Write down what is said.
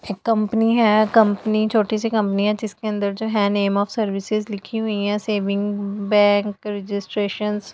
company है company छोटी सी कंपनी है जिसके अंदर जो है नेम ऑफ़ सर्विसिंग लिखी हुई है सेविंग बैंक रजिस्ट्रेशन --